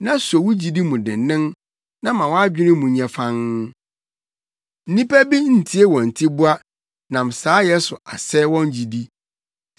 na so wo gyidi mu dennen na ma wʼadwene mu nyɛ fann. Nnipa bi ntie wɔn tiboa, nam saayɛ so asɛe wɔn gyidi.